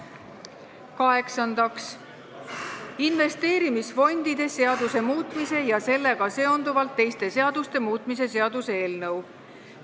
Kaheksandaks, investeerimisfondide seaduse muutmise ja sellega seonduvalt teiste seaduste muutmise seaduse eelnõu.